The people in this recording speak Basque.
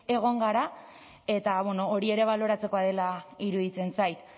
egon gara eta hori ere baloratzekoa dela iruditzen zait